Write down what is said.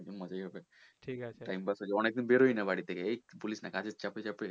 মজায় হবে অনেকদিন বেরোয় না বাড়ি থেকে এই বলিস না কাজের চাপে